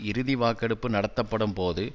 இறுதி வாக்கெடுப்பு நடத்தப்படும் போது